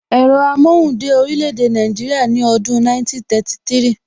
Ẹ̀rọ amóhùn dé orílè èdè Nàìjíríà ní ọdún 1933